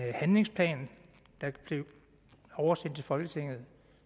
er en handlingsplan der blev oversendt til folketinget